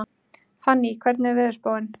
Fanný, hvernig er veðurspáin?